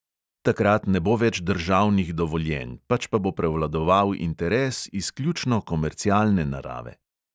Takrat ne bo več državnih dovoljenj, pač pa bo prevladoval interes izključno komercialne narave.